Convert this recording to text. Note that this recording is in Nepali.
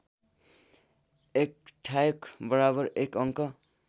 १ ठ्याक बराबर १ अङ्क